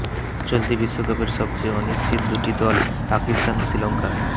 চলতি বিশ্বকাপের সবচেয়ে অনিশ্চিত দুটি দল পাকিস্তান ও শ্রীলঙ্কা